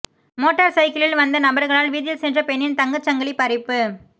motor சைக்கிளில் வந்த நபர்களால் வீதியில் சென்ற பெண்ணின் தங்கச்சங்கிலி பறிப்பு